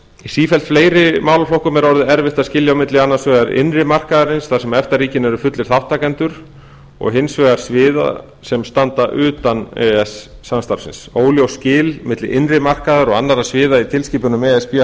í sífellt fleiri málaflokkum er orðið erfitt að skilja á milli annars vegar innri markaðarins þar sem efta ríkin eru fullir þátttakendur og hins vegar annarra sviða sem standa utan e e s samstarfsins óljós skil milli innri markaðar og annarra sviða í tilskipunum e s b